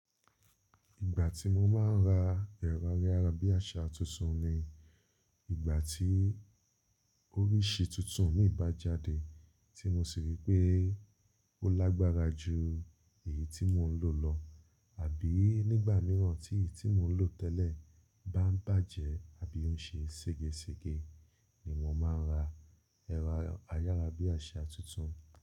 Ìgbà tí mo máa ń ra ẹ̀rọ ayárabíàṣá tuntun ni ìgbà tí oríṣi tuntun mì bá jáde tí mo sì rí pé ó lágbára ju èyí tí mò ń lò lọ àbí nígbà mìíràn tí èyí tí mò ń lò tẹ́lẹ̀ bá bàjẹ́ àbí ń ṣe sége sége ni mo máa ń ra ẹ̀rọ ayárabíàṣá tuntun.